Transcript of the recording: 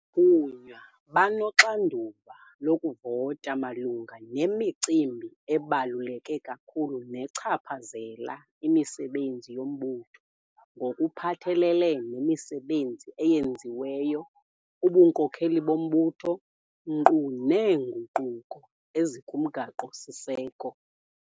Abathunywa banoxanduva lokuvota malunga nemicimbi ebaluleke kakhulu nechaphazela imisebenzi yombutho ngokuphathelele nemisebenzi eyenziweyo, ubunkokeli bombutho, nkqu neenguquko ezikuMgaqo-siseko.